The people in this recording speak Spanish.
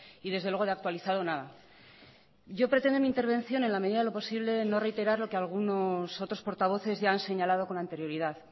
y desde luego de actualizado nada yo pretendo en mi intervención en la medida de lo posible no reiterar lo que algunos otros portavoces ya han señalado con anterioridad